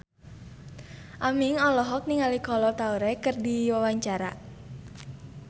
Aming olohok ningali Kolo Taure keur diwawancara